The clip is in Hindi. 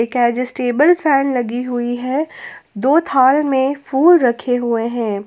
एडजेस्टेबल फैन लगी हुई है दो थाल में फूल रखे हुए हैं।